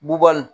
Bubagani